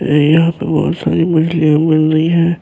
یہاں پہ بہت ساری مچھلیاں مل رہی ہیں-